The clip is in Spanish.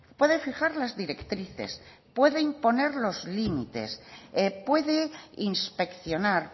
puede fijar las directrices puede imponer los límites puede inspeccionar